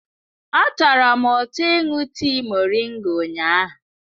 Ọ tọrọ m ụtọ ịṅụ tii moringa ụnyahụ.